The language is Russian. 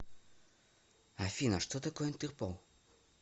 афина что такое интерпол